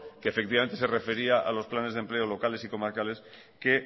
que efectivamente se refería a los planes de empleo locales y comarcales que